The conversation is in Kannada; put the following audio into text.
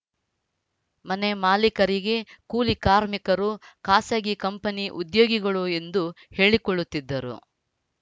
ಮನೆ ಮಾಲಿಕರಿಗೆ ಕೂಲಿ ಕಾರ್ಮಿಕರು ಖಾಸಗಿ ಕಂಪನಿ ಉದ್ಯೋಗಿಗಳು ಎಂದು ಹೇಳಿಕೊಳ್ಳುತ್ತಿದ್ದರು